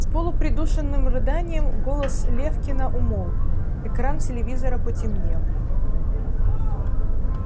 с полупридушенным рыданием голос лефкина умолк экран телевизора потемнел